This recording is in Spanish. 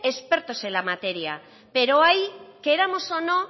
expertos en la materia pero ahí queramos o no